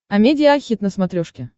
амедиа хит на смотрешке